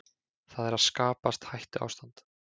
Það er að skapast hættuástand